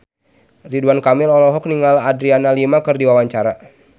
Ridwan Kamil olohok ningali Adriana Lima keur diwawancara